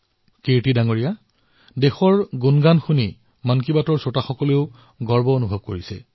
কীৰ্তিজী দেশৰ এই গৌৰৱগান শুনি মন কী বাতৰ শ্ৰোতাসকলো গৌৰৱান্বিত হয়